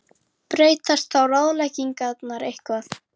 Breytast þá ráðleggingarnar eitthvað?